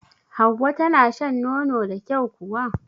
Hauwa tana shan nono da kyau kuwa?